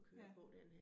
Ja